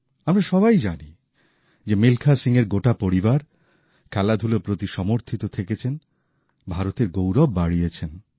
আমরা সবাই জানি যে মিলখা সিংয়ের গোটা পরিবার খেলাধুলোর প্রতি উৎসর্গীকৃত ভারতের গৌরব বাড়িয়েছেন